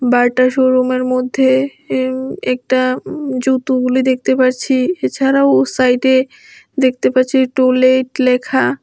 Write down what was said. বাটা শো রুমের মধ্যে ইউম একটা উম জুতোগুলি দেখতে পারছি এছাড়াও সাইডে দেখতে পাচ্ছি টু লেট লেখা।